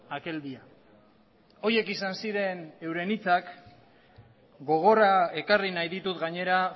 aquel día horiek izan ziren euren hitzak gogora ekarri nahi ditut gainera